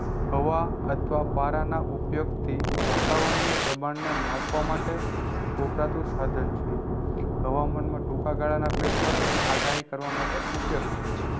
હવા અથવા પારા ના ઉપયોગ થી વાતાવણીય દબાણ ને માપવા માટે વપરાતું સાઘન છે હવામાન માં ચોખા ગાળા ના ફેરફાર અને આગાહી કરવા માટે ઉપયોગ થાય છે